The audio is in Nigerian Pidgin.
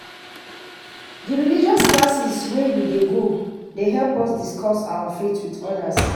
Di religious classes wey we dey go dey help us discuss our faith wit odas.